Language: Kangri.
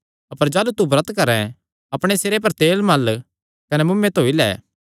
अपर जाह़लू तू ब्रत करैं अपणे सिरे पर तेल मल़ कने मुँऐ धोई लै